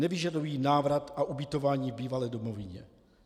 Nevyžadují návrat a ubytování v bývalé domovině.